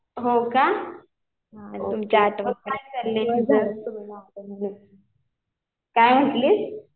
हो का. काय म्हटलीस?